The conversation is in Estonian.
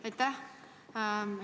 Aitäh!